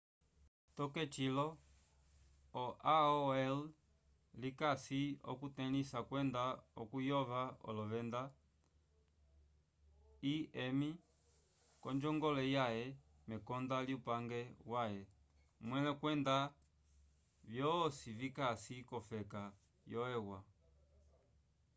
toke cilo o aol likasi okutelĩsa kwenda okuyova olovenda im k'onjongole yaye mekonda lyupange waye mwẽle kwenda vyosi vikasi k'ofeka yo eua